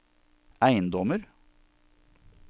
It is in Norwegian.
eiendommer